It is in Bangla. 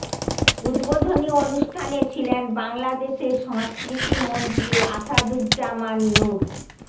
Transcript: উদ্বোধনী অনুষ্ঠানে ছিলেন বাংলাদেশের সংস্কৃতি মন্ত্রী আসাদুজ্জামান নূর